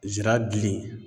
Zira dili